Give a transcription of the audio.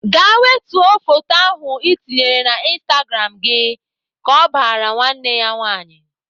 Gaa wetuo photo ahụ Ị tinyere na instagram gị !" Ka ọ bara nwanne ya nwaanyị.